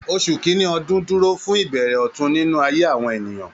Oṣù kìnní ọdun dúró fún ìbẹ̀rẹ̀ ọ̀tun nínú ayé àwọn ènìyàn